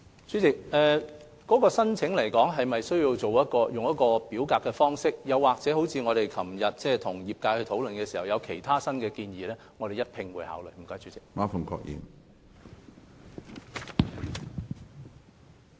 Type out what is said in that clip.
主席，關於是否需要以表格方式提出申請，以及我們與業界昨天會面時業界提出新的建議，我們會一併考慮有關問題。